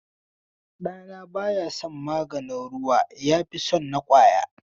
Ɗana baya son maganin ruwa yafi son na ƙwaya.